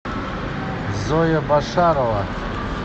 зоя башарова